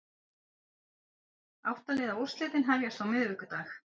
Átta liða úrslitin hefjast á miðvikudag